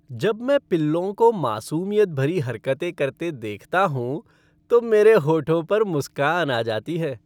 जब मैं पिल्लों को मासूमियत भरी हरकतें करते देखता हूँ तो मेरे होठों पर मुस्कान आ जाती है।